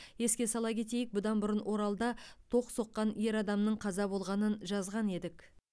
еске сала кетейік бұдан бұрын оралда ток соққан ер адамның қаза болғанын жазған едік